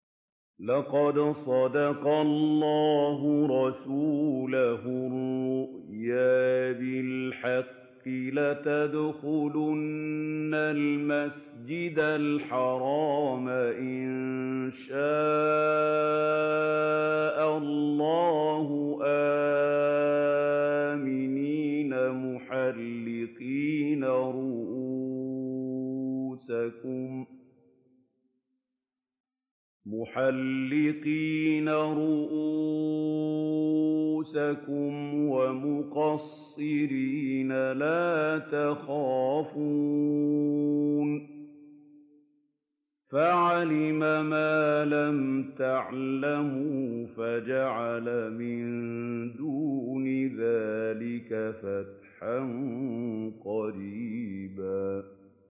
لَّقَدْ صَدَقَ اللَّهُ رَسُولَهُ الرُّؤْيَا بِالْحَقِّ ۖ لَتَدْخُلُنَّ الْمَسْجِدَ الْحَرَامَ إِن شَاءَ اللَّهُ آمِنِينَ مُحَلِّقِينَ رُءُوسَكُمْ وَمُقَصِّرِينَ لَا تَخَافُونَ ۖ فَعَلِمَ مَا لَمْ تَعْلَمُوا فَجَعَلَ مِن دُونِ ذَٰلِكَ فَتْحًا قَرِيبًا